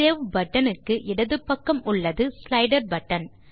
sa0வே button க்கு இடது பக்கம் உள்ளது ஸ்லைடர் பட்டன்